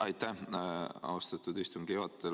Aitäh, austatud istungi juhataja!